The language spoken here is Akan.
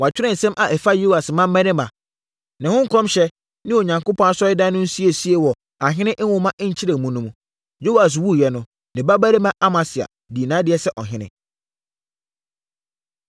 Wɔatwerɛ nsɛm a ɛfa Yoas mmammarima, ne ho nkɔmhyɛ, ne Onyankopɔn Asɔredan no nsiesie wɔ Ahene nwoma nkyerɛmu no mu. Yoas wuiɛ no, ne babarima Amasia dii nʼadeɛ sɛ ɔhene.